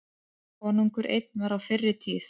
Konungur einn var á fyrri tíð.